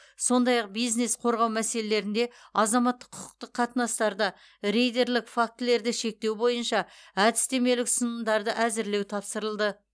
сондай ақ бизнес қорғау мәселелерінде азаматтық құқықтық қатынастарда рейдерлік фактілерді шектеу бойынша әдістемелік ұсынымдарды әзірлеу тапсырылды